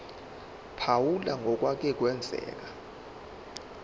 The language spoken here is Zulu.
phawula ngokwake kwenzeka